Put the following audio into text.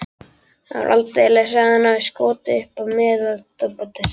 Það var aldeilis að hann hafði skotist upp metorðastigann.